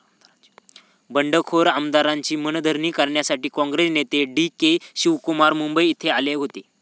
बंडखोर आमदारांची मनधरणी करण्यासाठी काँग्रेस नेते डी. के शिवकुमार मुंबई येथे आले होते.